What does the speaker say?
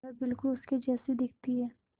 वह बिल्कुल उसके जैसी दिखती है